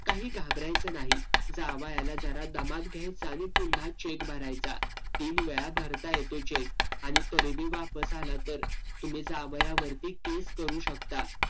काही घाबरायचं नाही. जावयाला जरा दमात घ्यायचं आणि पुन्हा cheque भरायचा. तीन वेळा भरता येतो cheque. आणि तरी बी वापस आला तर. तुम्ही जावयावरती case करू शकता.